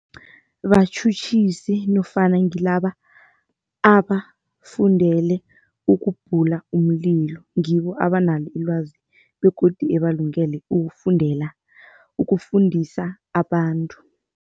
Batjhutjhisi nofana ngilaba abafundele ukubhula umlilo ngibo abanalo ilwazi begodu abalungele ukufundela, ukufundisa abantu.